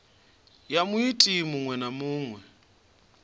ya muiti muṅwe na muṅwe